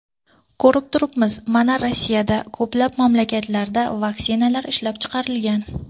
Ko‘rib turibmiz, mana Rossiyada, ko‘plab mamlakatlarda vaksinalar ishlab chiqilgan.